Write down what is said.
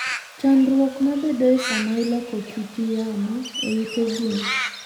Chandruok mabedoe sama iloko kiti yamo e ute gwen.